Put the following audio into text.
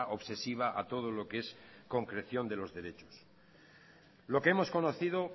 obsesiva a todo lo que es concreción de los derechos lo que hemos conocido